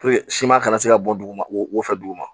siman kana se ka bɔ duguma o wofɛ duguma